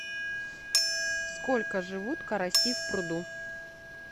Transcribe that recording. сколько живут караси в пруду